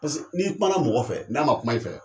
Paseke n'i kuma mɔgɔ fɛ, n'a ma kuma i fɛ,